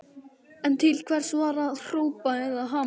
En til hvers var að hrópa eða hamast?